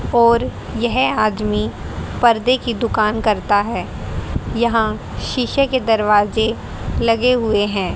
और यह आदमी पर्दे की दुकान करता है यहां शीशे के दरवाजे लगे हुए हैं।